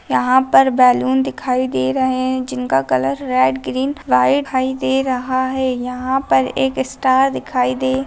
यहाँ पर बलून दिखाई दे रहे है जिनका कलर रेड ग्रीन व्हाइट दिखाई दे रहा है यहाँ पर एक स्टार दिखाई दे--